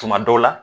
Tuma dɔw la